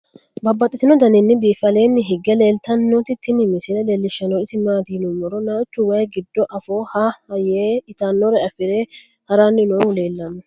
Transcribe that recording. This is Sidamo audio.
Babaxxittinno daninni biiffe aleenni hige leelittannotti tinni misile lelishshanori isi maattiya yinummoro naachu wayi giddo affo ha'ha yee ittanore afire haranni noohu leelanno